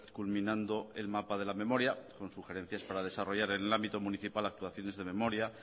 culminando el mapa de la memoria con sugerencias para desarrollar en el ámbito municipal actuaciones de memoria